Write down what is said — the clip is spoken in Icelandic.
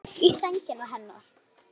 Einhver tók í sængina hennar.